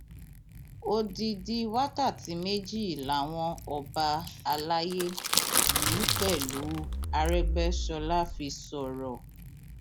odidi wákàtí méjì làwọn ọba àlàyé yìí pẹlú aregbèsọlá fi sọrọ